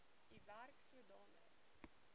u werk sodanig